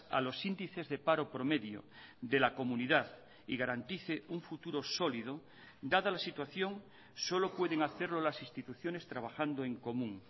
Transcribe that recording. a los índices de paro promedio de la comunidad y garantice un futuro sólido dada la situación solo pueden hacerlo las instituciones trabajando en común